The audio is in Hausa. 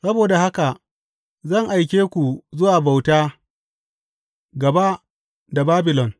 Saboda haka zan aike ku zuwa bauta’ gaba da Babilon.